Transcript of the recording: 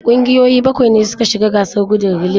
Kungiyoyi bakwai ne suka shiga gasar gudun relay.